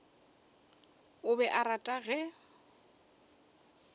o be a rata ge